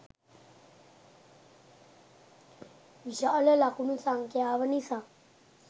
විශාල ලකුණු සංඛ්‍යාව නිසා